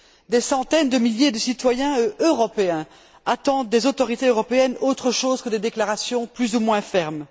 Des centaines de milliers de citoyens européens attendent des autorités européennes autre chose que des déclarations plus ou moins fermes.